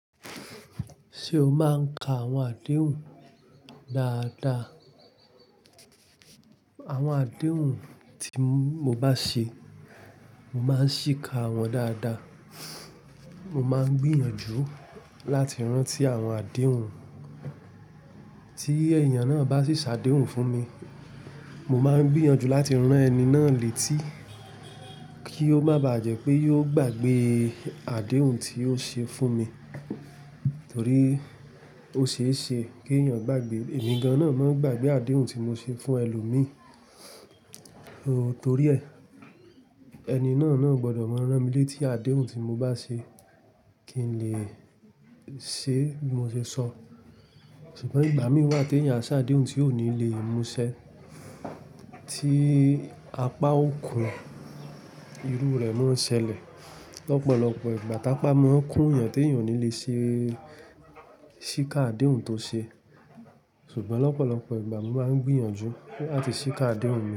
Ṣé o máa ń ka àwọn àdéhùn dáadáa? Àwọn àdéhùn tí mo bá ṣe, mo máa ń ṣìka wọ́n dáadáa. Mo máa ń gbìyànjú láti rántí àwọn àdéhùn. Tí èèyàn náà bá sì ṣàdéhùn fún mi, mo máa ń gbìyànjú láti rán ẹni náà létí, kí ó má bá jẹ́ pé yóò gbàgbée àdéhùn tí ó ṣe fún mi. Torí ó ṣeéṣe kí èèyàn gbàgbé. Ẹ̀mi gan-an náà máa ń gbàgbé àdéhùn tí mo ṣe fún ẹlòmíì. Torí ẹ, ẹni náà náà gbọdọ̀ máa rán mi létí àdéhùn tí mo bá ṣe kí n lè ṣe bí mo ṣe sọ. Ṣùgbọ́n ìgbà mìí wà tí èèyàn a ṣàdéhùn tí ò ní lè múṣẹ. Tí apá òkun irú rẹ̀ máa ń ṣẹlẹ̀. Lọ́pọ̀lọ́pọ̀ ìgbà, tàpá mú ó ń kún èèyàn tí èèyàn ò ní lè ṣe ṣíka àdéhùn tó ṣe. Ṣùgbọ́n lọ́pọ̀lọ́pọ̀ ìgbà mo máa ń gbìyànjú láti ṣíka àdéhùn mi.